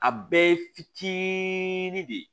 A bɛɛ ye fitinin de ye